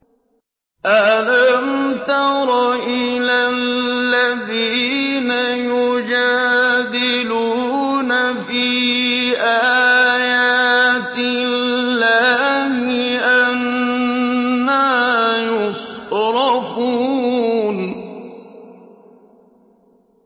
أَلَمْ تَرَ إِلَى الَّذِينَ يُجَادِلُونَ فِي آيَاتِ اللَّهِ أَنَّىٰ يُصْرَفُونَ